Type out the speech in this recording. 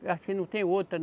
Acho que não tem outra.